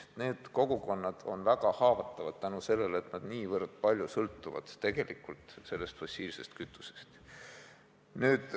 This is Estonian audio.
Need kogukonnad on väga haavatavad seetõttu, et nad on fossiilsest kütusest niivõrd suuresti sõltuvad.